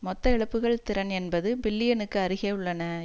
மொத்த இழப்புக்கள் திறன் எண்பது பில்லியனுக்கு அருகே உள்ளன